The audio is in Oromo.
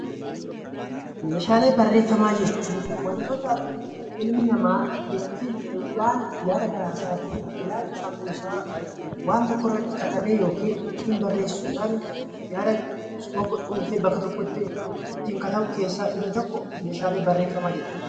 Meeshaalee barreeffamaa jechun wantoota ilmi namaa ittiin waanta yaada garaa isaatii, ilaalcha sammuu isaa waan tokko irratti katabee yookiin ittiin barreessuudhan yaada tokko cuunfee bakka tokkotti ittiin katabu keessaa inni tokko meeshaalee bareeffamaa jedhama.